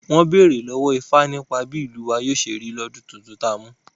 Wọ́n bèrè lọ́wọ́ ifá nípa bí ìlú wa yóò ṣe rí lọ́dún titun tá mú